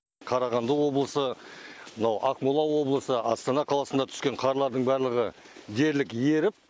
қарағанды облысы мынау ақмола облысы астана қаласына түскен қарлардың барлығы дерлік еріп